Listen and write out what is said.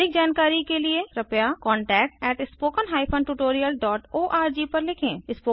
अधिक जानकारी के लिए कृपया contactspoken tutorialorg पर लिखें